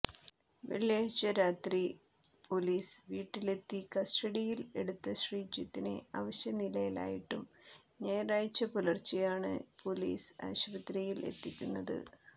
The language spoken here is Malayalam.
വെള്ളിയാഴ്ച രാത്രി പൊലീസ് വീട്ടിലെത്തി കസ്റ്റഡയിൽ എടുത്ത ശ്രീജിത്തിനെ അവശ നിലയിലായിട്ടം ഞായറാഴ്ച പുലർച്ചേ ആണ് പൊലീസ് ആശുപത്രിയിൽ എത്തിക്കുന്നത്